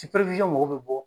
mɔgɔw bɛ bɔ.